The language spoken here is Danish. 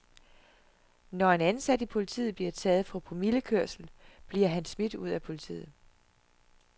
Når en ansat i politiet bliver taget for promillekørsel, bliver han smidt ud af politiet.